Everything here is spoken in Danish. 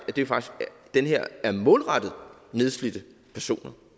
det her faktisk er målrettet nedslidte personer